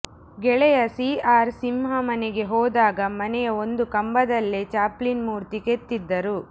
ಗೆಳೆಯ C R Simha ಮನೆಗೆ ಹೋದಾಗ ಮನೆಯ ಒಂದು ಕಂಬದಲ್ಲೇ ಚಾಪ್ಲಿನ್ ಮೂರ್ತಿ ಕೆತ್ತಿದ್ದರು